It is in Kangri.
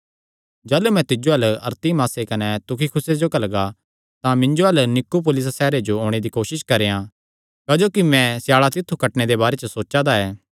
जाह़लू मैं तिज्जो अल्ल अरतिमासे कने तुखिकुसे जो घल्लगा तां मिन्जो अल्ल निकुपुलिस सैहरे च ओणे दी कोसस करेयां क्जोकि मैं स्याल़ा तित्थु कटणे दे बारे सोचा दा ऐ